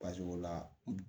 o la